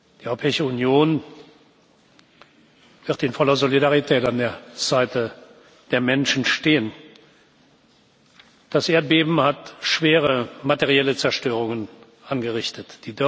Die Europäische Union wird in voller Solidarität an der Seite der Menschen stehen. Das Erdbeben hat schwere materielle Zerstörungen angerichtet.